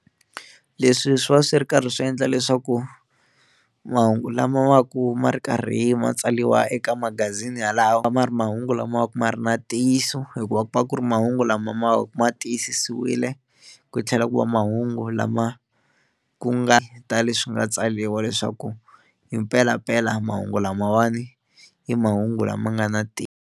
Leswi swi va swi ri karhi swi endla leswaku mahungu lama va ku ma ri karhi ma tsariwa eka magazini yalawo ya va ma ri mahungu lama va ku ma ri na ntiyiso hikuva ku va ku ri mahungu lama ma ma ma tiyisisiwile ku tlhela ku va mahungu lama ku nga ta leswi nga tsariwa leswaku hi mpelampela mahungu lamawani i mahungu lama nga na ntiyiso.